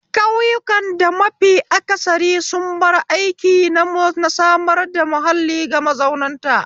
Ƙauyakun da mafi aksari sun bar aiki na samar da mahalli ga mazautan ta